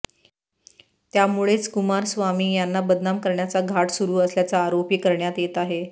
त्यामुळेच कुमारस्वामी यांना बदनाम करण्याचा घाट सुरू असल्याचा आरोपही करण्यात येत आहे